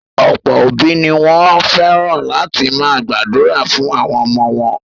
Ọ̀pọ̀ òbí ni wọ́n fẹ́ràn láti máa gbàdúrà fún àwọn ọmọ wọn.